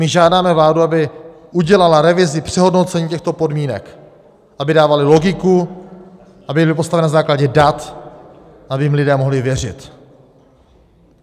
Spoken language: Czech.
My žádáme vládu, aby udělala revizi přehodnocení těchto podmínek, aby dávaly logiku, aby byly postaveny na základě dat, aby jim lidé mohli věřit.